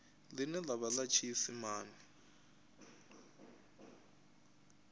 ḽine ḽa vha ḽa tshiisimane